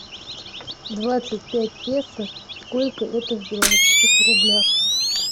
двадцать пять песо сколько это в белорусских рублях